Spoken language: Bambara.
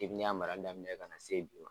Depi ne y'a marali daminɛ ka na se bi ma.